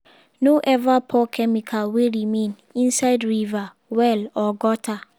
no ever pour chemical wey remain inside river well or gutter.